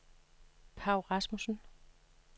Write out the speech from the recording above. Paw Rasmussen